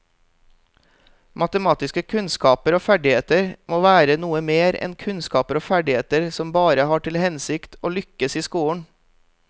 Matematiske kunnskaper og ferdigheter må være noe mer enn kunnskaper og ferdigheter som bare har til hensikt å lykkes i skolen.